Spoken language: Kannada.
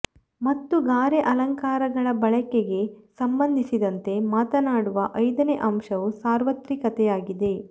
ಮತ್ತು ಗಾರೆ ಅಲಂಕಾರಗಳ ಬಳಕೆಗೆ ಸಂಬಂಧಿಸಿದಂತೆ ಮಾತನಾಡುವ ಐದನೇ ಅಂಶವು ಸಾರ್ವತ್ರಿಕತೆಯಾಗಿದೆ